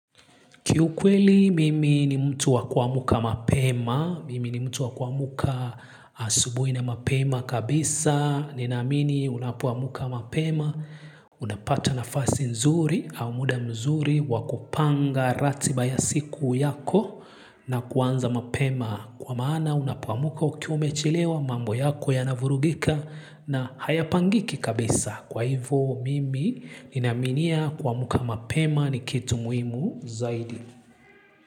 Kiu kweli mimi ni mtu wa kuamka mapema, mimi ni mtu wakua mka asubuhi na mapema kabisa, ninamini unapo amka mapema, unapata nafasi nzuri au muda mzuri wakupanga ratiba ya siku yako na kuanza mapema. Kwa maana unapoamuka ukiwa umechilewa mambo yako ya navurugika na haya pangiki kabisa. Kwa hivo mimi ninaminia kuamka mapema ni kitu muhimu zaidi.